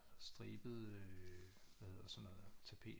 Stribede hvad hedder sådan noget tapet